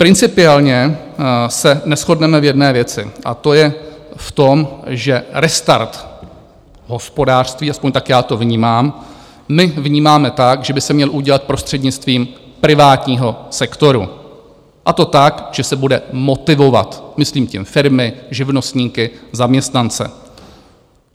Principiálně se neshodneme v jedné věci, a to je v tom, že restart hospodářství, aspoň tak já to vnímám, my vnímáme tak, že by se měl udělat prostřednictvím privátního sektoru, a to tak, že se bude motivovat, myslím tím firmy, živnostníky, zaměstnance.